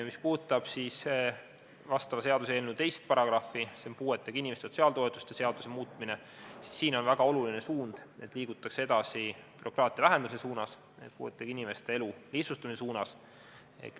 Mis puudutab seaduseelnõu § 2 "Puuetega inimeste sotsiaaltoetuste seaduse muutmine", siis siin on väga oluline see, et liigutakse edasi bürokraatia vähendamise suunas, puuetega inimeste elu lihtsustamise suunas.